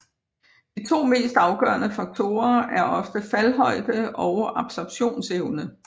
De to mest afgørende faktorer er ofte faldhøjde og absorbtionsevne